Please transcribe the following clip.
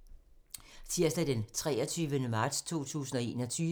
Tirsdag d. 23. marts 2021